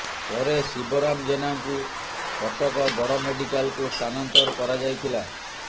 ପରେ ଶିବରାମ ଜେନାଙ୍କୁ କଟକ ବଡ଼ ମେଡିକାଲକୁ ସ୍ଥାନାନ୍ତର କରାଯାଇଥିଲା